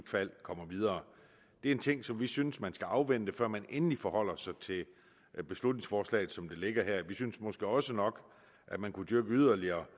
fald kommer videre det er en ting som vi synes man skal afvente før man endelig forholder sig til beslutningsforslaget som det ligger her vi synes måske også nok at man yderligere